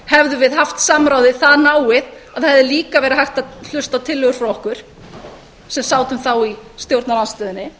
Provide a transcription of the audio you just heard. hefðum við haft samráðið það náið að það hefði líka verið hægt að hlusta á tillögur frá okkur sem sátum þá í stjórnarandstöðunni